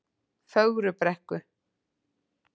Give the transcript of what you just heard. Fögrubrekku